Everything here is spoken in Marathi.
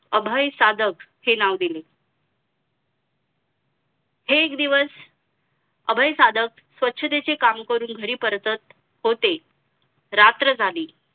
अभय सादक हे नावं दिले एक दिवस अभय सादक स्वच्छतेचे काम करून घरी परतत होते रात्र झाली